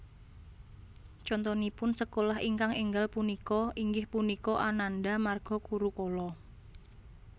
Contonipun sekolah ingkang énggal punika inggih punika Ananda Marga Gurukula